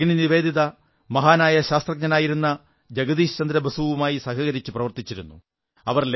ഭഗിനി നിവേദിത മഹാനായ ശാസ്ത്രജ്ഞനായിരുന്ന ജഗദീശ് ചന്ദ്രബോസുവുമായി സഹകരിച്ചു പ്രവർത്തിച്ചിരുന്നു